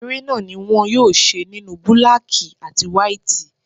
Eré náà ni wón yóò ṣe nínú búlákí àti wáítì.